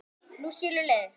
Nú skilur leiðir.